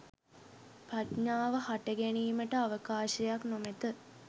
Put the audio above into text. ප්‍රඥාව හට ගැනීමට අවකාශයක් නොමැත.